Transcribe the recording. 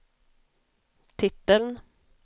titeln